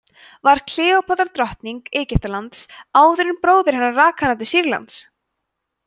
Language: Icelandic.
var kleópatra drottning egyptalands áður en bróðir hennar rak hana til sýrlands